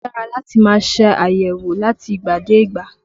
Ó dára láti máa ṣe àyẹ̀wò láti ìgbà dé ìgbà